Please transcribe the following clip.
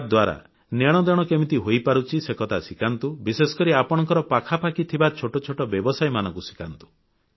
ୟାଦ୍ୱାରା ନେଣଦେଣ କେମିତି ହୋଇପାରୁଛି ସେ କଥା ଶିଖାନ୍ତୁ ବିଶେଷକରି ଆପଣଙ୍କ ପାଖାପାଖି ଥିବା ଛୋଟ ଛୋଟ ବ୍ୟବସାୟୀମାନଙ୍କୁ ଶିଖାନ୍ତୁ